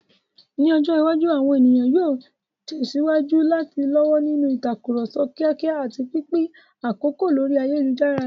Ní ọjọ́ iwájú, àwọn ènìyàn yóò tẹ̀síwájú láti lọ́wọ́ nínú ìtàkùrọ̀sọ kíákíá àti pínpín àkókò lórí ayélujára.